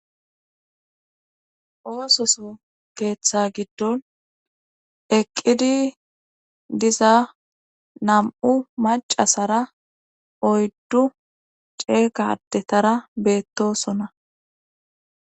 Oososo keeththa giddon eqqidi diza nam'u macasara oyddu ceeqadetara beettosona